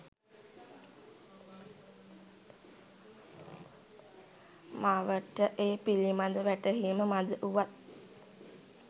මවට ඒ පිළිබඳ වැටහීම මඳ වුවත්